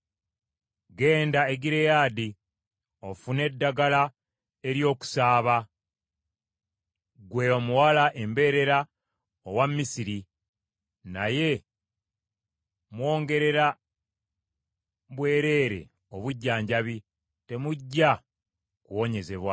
“Genda e Gireyaadi ofune eddagala ery’okusaaba, ggwe Omuwala Embeerera owa Misiri. Naye mwongerera bwereere obujjanjabi; temujja kuwonyezebwa.